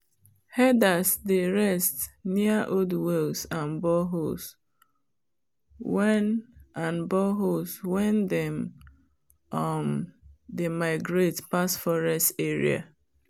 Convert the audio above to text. herders dey rest near old wells and boreholes wen and boreholes wen them um dey migrate pass forest area